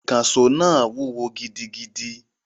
Ìkànṣó náà wúwo gidigidi